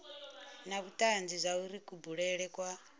na vhutanzi zwauri kubulele kwa